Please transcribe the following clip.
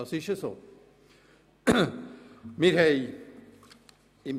Es ist mir ganz wichtig, das zu betonen.